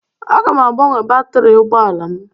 Aga m agbanwe batrị ụgbọala m.